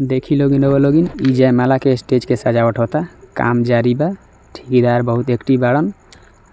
देखी लोगी रउवा लोगन इ जयमाला के स्टेज की सजावट होता काम जारी बारे ठेकेदार बहुत एक्टिव वारन